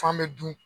F'an be dun